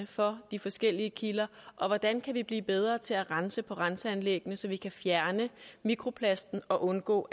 for de forskellige kilder og hvordan vi kan blive bedre til at rense på renseanlæggene så vi kan fjerne mikroplasten og undgå